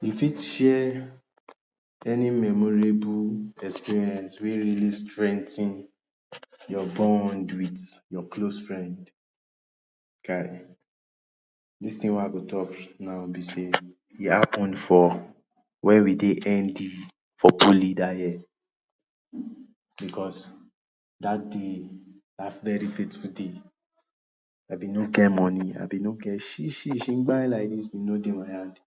You fit share any memorable experience wey really strengthen your bond with your close friends dis thing wey I Dey talk no be sey e happen for wey we Dey nd for poly dat year because dat day dat very beautiful day I been no get money I been no get shi shi shingby like dis no Dey my hand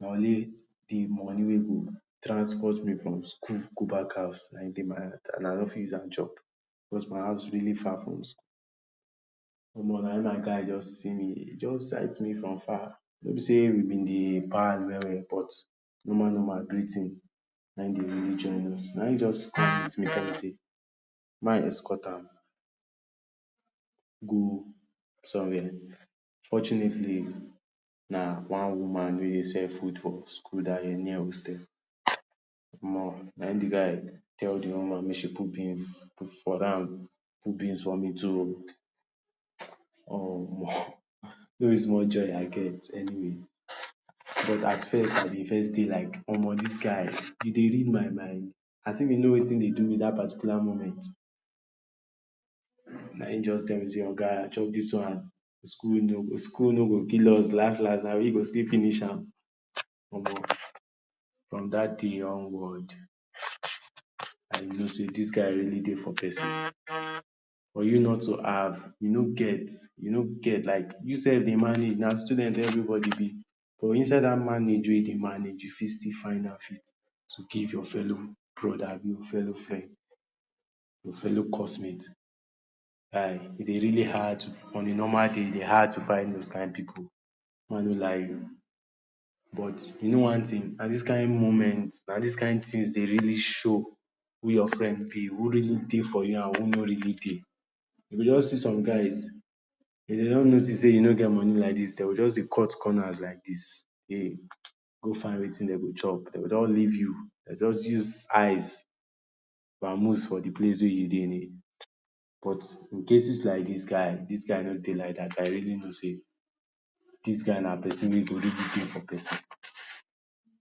money na only de money wey go transport me from school go back house na im Dey my hand I no fit use am chop because my house really far from school omo na im my guy just see me im just site me from far no be say we been Dey pal well well but normal normal greeting na im Dey really join us na im just come meet me talk sey make I escort am go somewhere fortunately na one woman wey Dey sell food for school dat year near hostel na im de guy tell de woman make she put beans for am put beans for me too ooo Omo no be small joy I get anyway but at first I Dey first be like omo dis guy e Dey read my mind as if im know wetin Dey do me dat particular moment na im just tell me sey oga chop dis one school no school no go kill us last last na we go still finish am omo from dat day onward I know sey dis guy really Dey for person for you not to have you no get you no get like you sef Dey manage na student every body b but inside dat manage wey you Dey manage you fit still find am fit to give your fellow brother abi fellow friend, your fellow course mate guy e Dey really hard on a normal day e Dey hard to find dis kin pipu make I no lie you But you know one thing na dis kin moment na dis kin things Dey really show who your friend b who really Dey for you and who no really Dey you go just see some guys if dem just notice sey you no get money like dis dem go just Dey cut corners like dis Dem go find wetin dem go chop dem go don leave you dem go just use eyes vamuse from de place wey you Dey but in cases like dis guy dis guy no Dey like dat I really know sey dis guy na person wey go really Dey for person